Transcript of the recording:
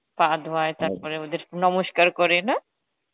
পা ধোয় ওদের নমস্কার করে না?